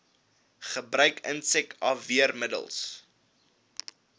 gebruik insek afweermiddels